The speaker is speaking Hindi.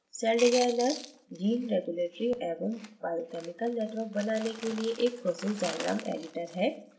सेलडिज़ाइनर gene regulatory एवं biochemical networks बनाने के लिए एक process diagram editor है